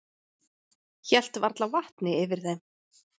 Hélt varla vatni yfir þeim.